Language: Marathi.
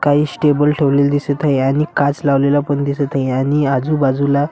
काहीसे टेबल ठेवलेले दिसत आहे आणि काच लावलेला पण दिसत आहे आणि आजूबाजूला --